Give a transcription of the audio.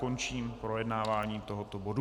Končím projednávání tohoto bodu.